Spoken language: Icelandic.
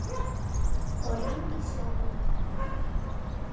Þar voru engir sjóðir tómir.